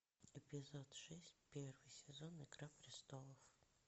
эпизод шесть первый сезон игра престолов